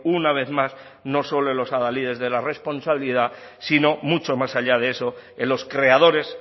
una vez más no solo en los adalides de la responsabilidad sino mucho más allá de eso en los creadores